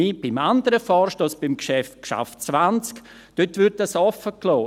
Beim anderen Vorstoss, beim Geschäft 20 , wird dies offengelassen.